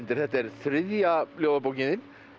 þetta er þriðja ljóðabókin þín